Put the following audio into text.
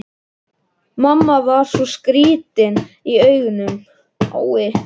Mamma var svo skrýtin í augunum.